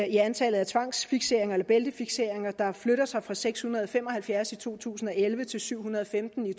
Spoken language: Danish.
i antallet af tvangsfikseringer eller bæltefikseringer der flytter sig fra seks hundrede og fem og halvfjerds i to tusind og elleve til syv hundrede og femten i